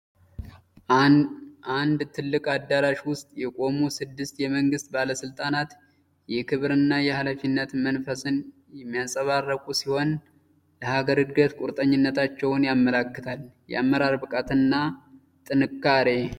በአንድ ትልቅ አዳራሽ ውስጥ የቆሙ ስድስት የመንግስት ባለስልጣናት! የክብርና የኃላፊነት መንፈስን የሚያንፀባርቁ ሲሆን፣ ለሀገር ዕድገት ቁርጠኝነታቸውን ያመለክታል። የአመራር ብቃትና ጥንካሬ!